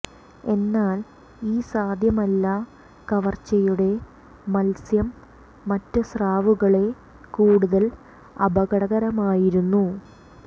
എന്നാൽ ഈ സാധ്യമല്ല കവർച്ചയുടെ മത്സ്യം മറ്റ് സ്രാവുകളെ കൂടുതൽ അപകടകരമായിരുന്നു